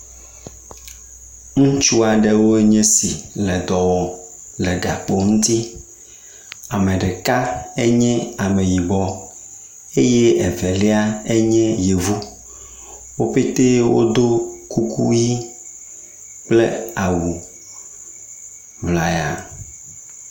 Ŋutsu aɖewo nye esi l dɔ wɔm le gakpo ŋutsi. Ame ɖeka enye ameyibɔ eye evelai enye yevu. Wo pɛtɛ wodo kuku ʋi kple awuŋlaya.